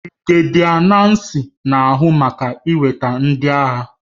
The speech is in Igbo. Birigedia Nnacy na-ahụ maka iweta ndị agha